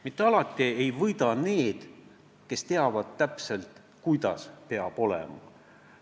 Mitte alati ei võida need, kes teavad täpselt, kuidas peab olema.